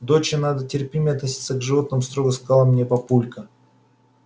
доча надо терпимее относиться к животным строго сказал мне папулька